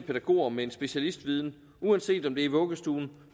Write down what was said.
pædagoger med en specialistviden uanset om det er i vuggestuen